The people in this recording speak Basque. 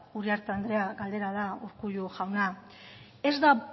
uriarte anderea galdera da urkullu jauna ez da